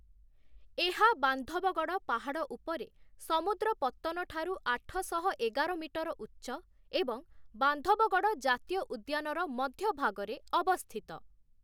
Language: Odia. ଏହା ବାନ୍ଧବଗଡ଼ ପାହାଡ଼ ଉପରେ, ସମୁଦ୍ର ପତ୍ତନଠାରୁ ଆଠଶହ ଏଗାର ମିଟର ଉଚ୍ଚ ଏବଂ ବାନ୍ଧବଗଡ଼ ଜାତୀୟ ଉଦ୍ୟାନର ମଧ୍ୟଭାଗରେ ଅବସ୍ଥିତ ।